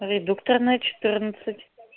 редукторная четырнадцать